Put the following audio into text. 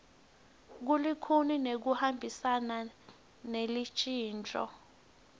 bulikhuni nekuhambisana nelushintso